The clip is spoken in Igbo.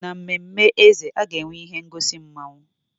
N'ememme eze, a ga-enwe ihe ngosi mmawụ.